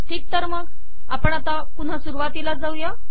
ठीक तर मग आपण पुन्हा सुरुवातीला जाऊ